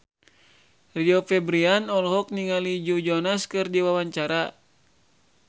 Rio Febrian olohok ningali Joe Jonas keur diwawancara